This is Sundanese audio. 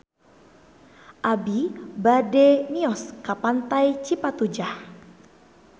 Abi bade mios ka Pantai Cipatujah